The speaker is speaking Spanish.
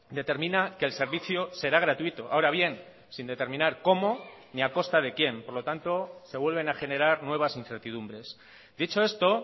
determina que el servicio será gratuito ahora bien sin determinar cómo ni a costa de quién por lo tanto se vuelven a generar nuevas incertidumbres dicho esto